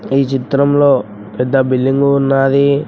ఈ చిత్రంలో పెద్ద బిల్డింగ్ ఉన్నాది.